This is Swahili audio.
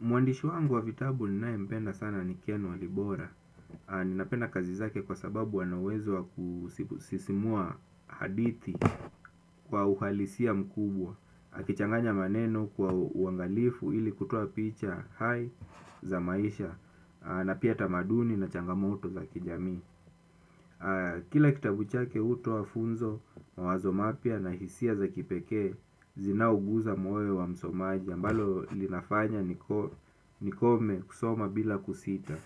Mwandishi wangu wa vitabu ninayempenda sana ni Ken Walibora. Ninapenda kazi zake kwa sababu ana uwezo wa kusisimua hadithi kwa uhalisia mkubwa. Akichanganya maneno kwa uangalifu ili kutoa picha hai za maisha na pia tamaduni na changamoto za kijamii. Kila kitabu chake hutoa funzo, mawazo mapya na hisia za kipekee zinaoguza moyo wa msomaji. Ambalo linafanya nikome kusoma bila kusita.